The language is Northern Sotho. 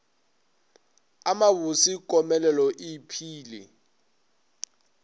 a mabose komelelo e iphile